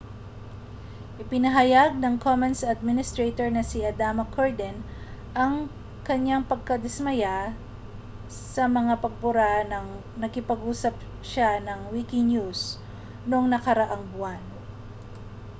ipinahayag ng commons administrator na si adama cuerden ang kaniyang pagkadismaya sa mga pagbura nang nakipag-usap siya sa wikinews noong nakaraang buwan